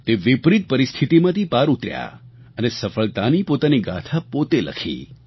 તે વિપરીત પરિસ્થિતિમાંથી પાર ઉતર્યા અને સફળતાની પોતાની ગાથા પોતે લખી